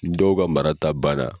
Ni dɔw ka marata banna.